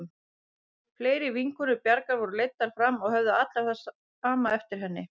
Fleiri vinkonur Bjargar voru leiddar fram og höfðu allar það sama eftir henni.